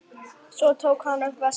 Svo tók hann upp veskið.